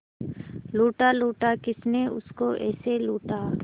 लूटा लूटा किसने उसको ऐसे लूटा